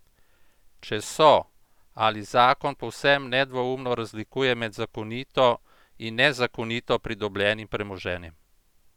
Če so, ali zakon povsem nedvoumno razlikuje med zakonito in nezakonito pridobljenim premoženjem?